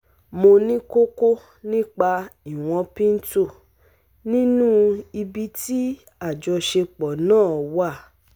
Mo ní kókó nípa ìwọ̀n pinto nínú ibi tí àjọṣepọ̀ náà wà